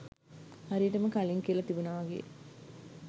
හරියටම කලින් කියල තිබුන වගේ